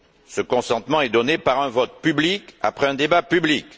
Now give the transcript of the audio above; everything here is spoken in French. Ce consentement est donné par un vote public après un débat public.